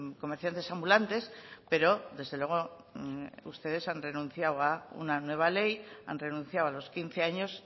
comerciantes ambulantes pero desde luego ustedes han renunciado a una nueva ley han renunciado a los quince años